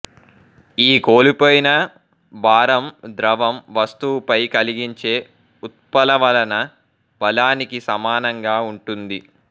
ఈ కోల్పోయిన భారం ద్రవం వస్తువుపై కలిగించే ఉత్ప్లవన బలానికి సమానంగా ఉంటుంది